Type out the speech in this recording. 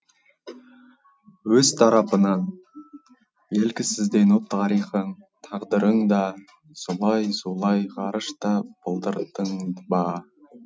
өз тарапынан белгісіздеу тарихың тағдырың да зулай зулай ғарышта былдырдың ба